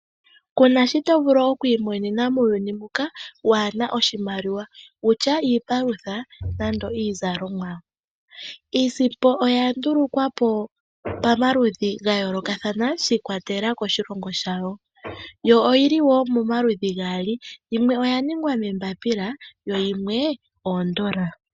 Kuna shito vulu okwilikolela ngele kuna iimaliwa, iipalutha niizalomwa oha twiilanditha niimaliwa, iimaliwa oyalongwa pamaludhi gayoloka mpono puna yimwe oyalongwa moombapila.